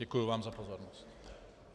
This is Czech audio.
Děkuji vám za pozornost.